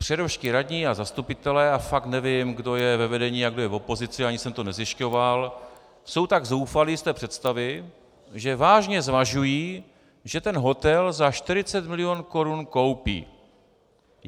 Přerovští radní a zastupitelé - a fakt nevím, kdo je ve vedení a kdo je v opozici, ani jsem to nezjišťoval - jsou tak zoufalí z té představy, že vážně zvažují, že ten hotel za 40 milionů korun koupí.